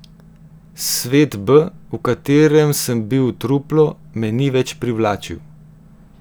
Svet B, v katerem sem bil truplo, me ni več privlačil.